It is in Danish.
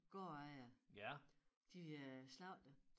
Gårdejere de øh slagtede